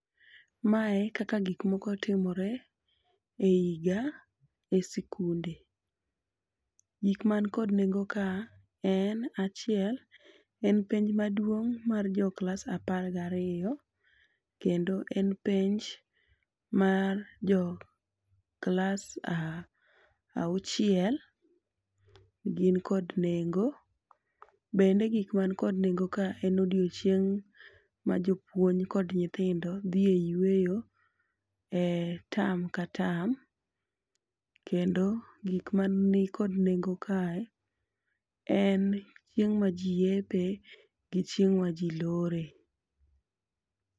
Mae kaka gikmoko timore e higa e sikunde. Gik man kod nengo ka en achiel, en penj maduong' mar jo klas apar gariyo. Kendo en penj mar jo klas auchiel, gin kod nengo. Bende gik man kod nengo ka en odiochieng' ma jopuony kod nyithindo dhi e yweyo e tam ka tam. Kendo gik ma nikod nengo kae en chieng' ma ji yepe gi chieng' ma ji lore.